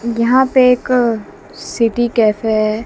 यहां पे एक सिटी कैफे है।